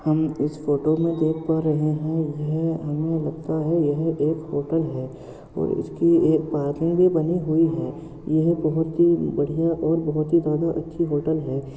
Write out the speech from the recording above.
हम इस फोटो में देख पा रहे है यह हमे लगता है यह एक होटल है और उसकी एक पार्किंग भी बनी हुई है यह बहुत ही बढ़िया और बहुत ही ज्यादा अच्छी होटल है।